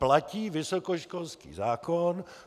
Platí vysokoškolský zákon.